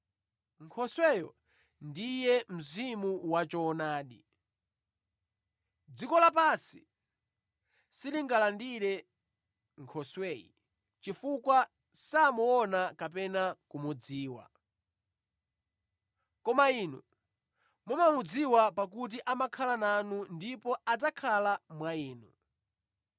Nkhosweyo ndiye Mzimu wachoonadi. Dziko lapansi silingalandire Nkhosweyi chifukwa samuona kapena kumudziwa. Koma inu mumamudziwa pakuti amakhala nanu ndipo adzakhala mwa inu.